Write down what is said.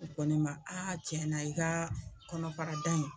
A ko ne ma a cɛn na i ka kɔnɔfarada in.